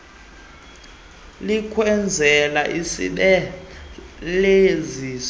likwenzela isebe lesizwe